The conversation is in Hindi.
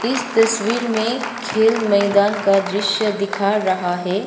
इस तस्वीर में खेल मैदान का दृश्य दिखा रहा है।